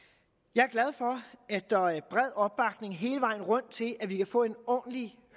jeg er glad for at der er bred opbakning hele vejen rundt til at vi kan få en ordentlig